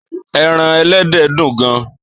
Èràn èlèdè dún gàn